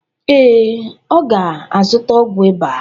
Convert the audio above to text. Ee, ọ ga-azụta ọgwụ ịba.